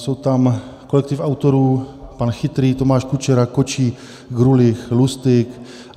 Je tam kolektiv autorů pan Chytrý, Tomáš Kučera, Kočí, Grulich, Lustyk.